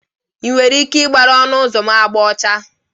Ị nwere ike ịgbara ọnụ ụzọ m agba ọcha?